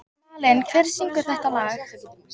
Malen, hver syngur þetta lag?